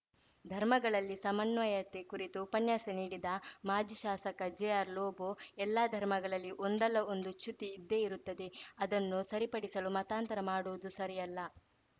ಧರ್ಮಗಳಲ್ಲಿ ಸಮನ್ವಯತೆ ಕುರಿತು ಉಪನ್ಯಾಸ ನೀಡಿದ ಮಾಜಿ ಶಾಸಕ ಜೆಆರ್‌ ಲೋಬೋ ಎಲ್ಲ ಧರ್ಮಗಳಲ್ಲಿ ಒಂದಲ್ಲ ಒಂದು ಚ್ಯುತಿ ಇದ್ದೇ ಇರುತ್ತದೆ ಅದನ್ನು ಸರಿಪಡಿಸಲು ಮತಾಂತರ ಮಾಡುವುದು ಸರಿಯಲ್ಲ